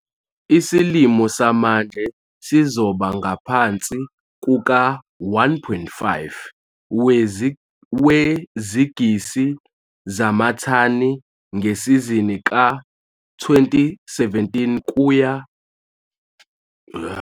Isilimo samanje sizoba ngaphansi kuka-1,5 wezigisi zamathani ngesizini ka-2017 kuya